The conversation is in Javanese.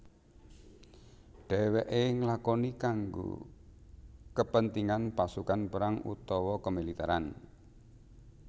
Dewèké nglakoni kanggo kepentingan pasukan perang utawa kemiliteran